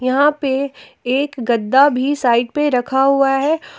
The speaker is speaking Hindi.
यहां पे एक गद्दा भी साइड पे रखा हुआ है।